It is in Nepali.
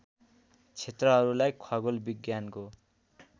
क्षेत्रहरूलाई खगोल विज्ञानको